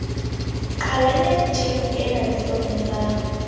qhalanya tjhefo ena diforong tsa